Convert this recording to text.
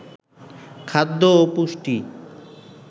খাদ্য ও পুষ্টি